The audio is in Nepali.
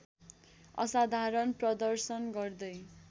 असाधारण प्रदर्शन गर्दै